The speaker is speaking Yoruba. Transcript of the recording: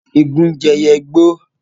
Igún jẹ́ ẹyẹ igbó.